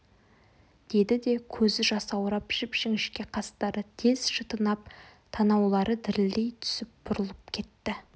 деді де көзі жасаурап жіп-жіңішке қастары тез шытынып танаулары дірілдей түсіп бұрылып кетті